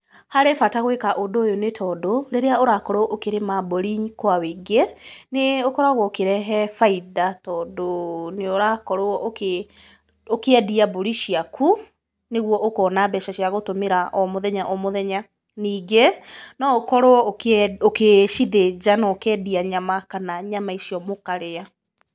Harĩ bata gwĩka ũndũ ũyũ nĩ tondũ rĩrĩa ũrakorwo ũkĩrĩma mbũri kwa wĩingĩ nĩ ũkoragwo ũkĩrehe bainda, tondũ nĩ ũrakorwo ũkĩendia mbũri ciaku, nĩguo ũkona mbeca cia gũtũmĩra o mũthenya o mũthenya, ningĩ no ũkorwo ũkĩcithĩnja na ũkendia nyama kana nyama icio mũkarĩa.